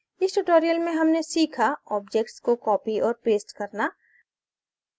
इस ट्यूटोरियल में हमने सीखा ऑब्जेक्ट्स को कॉपी औऱ पेस्ट करना